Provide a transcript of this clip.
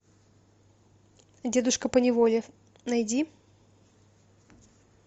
дедушка по неволе найди